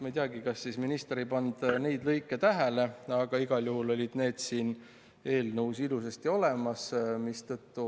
" Ma ei teagi, kas minister ei pannud neid lõike tähele, aga igal juhul on need siin ilusasti olemas.